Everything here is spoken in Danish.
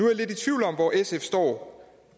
jeg lidt i tvivl om hvor sf står